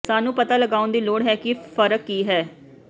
ਸਾਨੂੰ ਪਤਾ ਲਗਾਉਣ ਦੀ ਲੋੜ ਹੈ ਕਿ ਫਰਕ ਕੀ ਹੈ